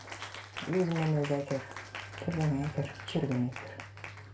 өзімен өзі әйтеуір бірдеңе әйтеуір жүрген әйтеуір